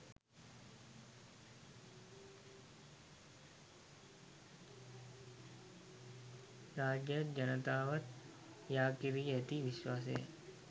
රජයත් ජනතාවත් යා කෙරී ඇති විශ්වාසය